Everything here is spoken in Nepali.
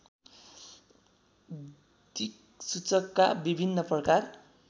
दिक्सूचकका विभिन्न प्रकार